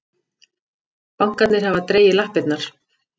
Bankarnir hafa dregið lappirnar